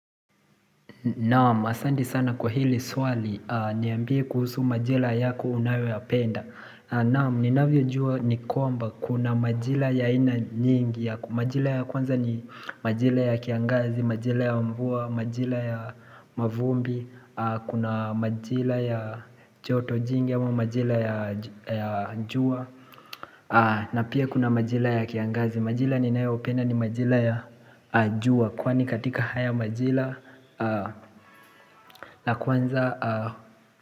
Naam, asant sana kwa hili swali, niambie kuhusu majira yako unayoyapenda Naam, ninavyojua ni kwamba, kuna majira ya aina nyingi Majira ya kwanza ni majira ya kiangazi, majira ya mvua, majira ya mavumbi Kuna majira ya choto jingi ama majira ya jua na pia kuna majira ya kiangazi, majira ninayopenda ni majira ya jua Kwani katika haya majira na kwanza.